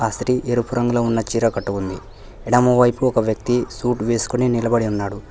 స్త్రీ ఎరుపు రంగులో ఉన్న చీర కట్టుకుంది ఎడమవైపు ఒక వ్యక్తి సూట్ వేసుకుని నిలబడి ఉన్నాడు.